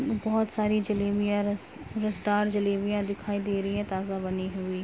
बोहोत सारी जलेबियाँ रस रसदार जलेबियाँ दिखाई दे रही हैं ताजा बनी हुई।